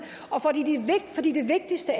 og fordi det vigtigste